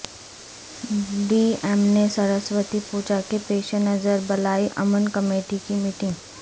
D ایم نے سرسوتی پوجا کے پیش نظر بلائی امن کمیٹی کی میٹنگ